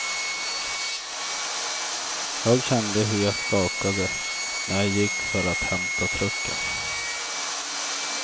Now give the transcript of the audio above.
Jag kände hur jag skakade när jag gick för att hämta trucken.